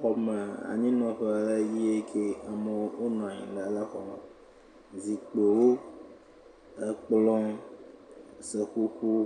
Xɔme anyinɔƒe le yeke. Amewo wonɔ anyile le xɔme. Zikpewo, ekplɔ̃, seƒoƒowo